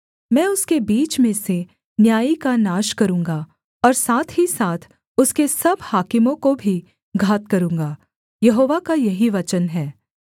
मैं उसके बीच में से न्यायी का नाश करूँगा और साथ ही साथ उसके सब हाकिमों को भी घात करूँगा यहोवा का यही वचन है